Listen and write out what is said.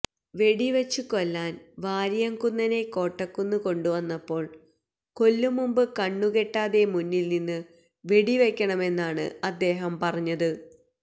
വെടിവച്ച് കൊല്ലാന് വാരിയം കുന്നനെ കോട്ടക്കുന്ന് കൊണ്ടുവന്നപ്പോള് കൊല്ലും മുമ്പ് കണ്ണുകെട്ടാതെ മുന്നില് നിന്ന് വെടിവയ്ക്കണമെന്നാണ് അദ്ദേഹം പറഞ്ഞത്